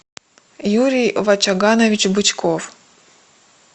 юрий вачаганович бычков